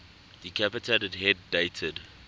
decapitated head dated